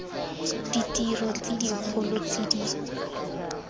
ditiro tse dikgolo tse di